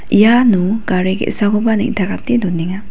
iano gari ge·sakoba neng·takate donenga.